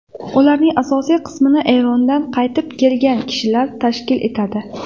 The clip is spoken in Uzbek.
Ularning asosiy qismini Erondan qaytib kelgan kishilar tashkil etadi.